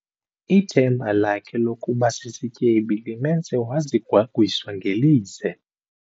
Ithemba lakhe lokuba sisityebi limenze wazigwagwisa ngelize.